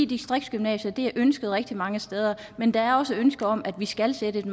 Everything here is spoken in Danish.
distriktsgymnasier er et ønske rigtig mange steder men der er også et ønske om at vi skal sætte et